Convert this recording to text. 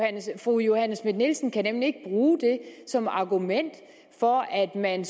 fru johanne schmidt nielsen kan nemlig ikke bruge det som argument for at man